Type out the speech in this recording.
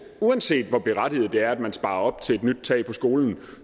uanset hvor berettiget det er at man sparer op til et nyt tag på skolen